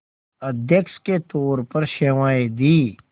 अध्यक्ष के तौर पर सेवाएं दीं